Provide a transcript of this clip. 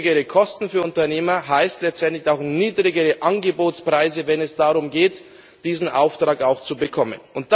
Niedrigere Kosten für Unternehmer heißt letztendlich auch niedrigere Angebotspreise, wenn es darum geht, einen Auftrag auch zu bekommen.